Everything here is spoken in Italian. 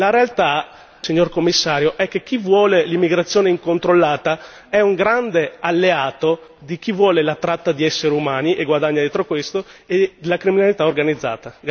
La realtà, signor Commissario, è che chi vuole l'immigrazione incontrollata è un grande alleato di chi vuole la tratta di esseri umani e guadagna dietro questo e la criminalità organizzata.